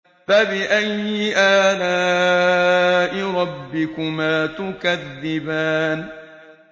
فَبِأَيِّ آلَاءِ رَبِّكُمَا تُكَذِّبَانِ